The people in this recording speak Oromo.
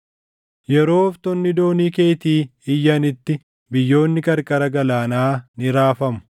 Yeroo ooftonni doonii keetii iyyanitti biyyoonni qarqara galaanaa ni raafamu.